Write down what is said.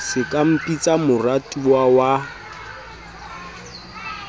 se ka mpitsa moratuwa wa